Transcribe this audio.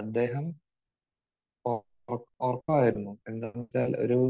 അദ്ദേഹം ഒ ഒ ഉറങ്ങുവായിരുന്നു. എന്താണെന്ന് വെച്ചാൽ ഒരു